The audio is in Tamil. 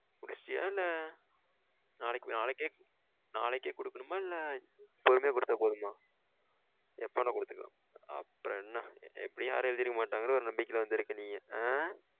முடிச்சிட்டியா? இல்ல நாளைக்கு நாளைக்கே நாளைக்கே குடுக்கணுமா? இல்ல பொறுமையா குடுத்தா போதுமா எப்போ வேணாலும் குடுதுக்கலாம்ல அப்புறம் என்ன எப்டியும் யாரும் எழுதிருக்கா மட்டங்கனு ஒரு நம்பிக்கையில வந்துருக்கா நீயி ஆ?